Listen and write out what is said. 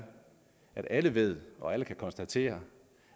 at alle ved og alle kan konstatere